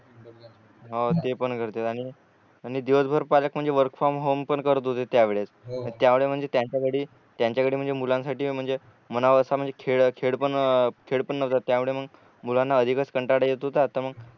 हो ते पण करते आणि आणि दिवस भर पालक म्हणजे वर्क फ्रॉम होम पण करत होते त्या वेळेस त्यांमुळे म्हणजे त्यंच्यासाठी त्यांच्याकडे म्हणजे मुलांसाठी म्हणावा अस म्हणजे खेळ खेळ पण नव्हता त्यामुळे मग मुलांना अधिकच कंटाळा येत होता तर मग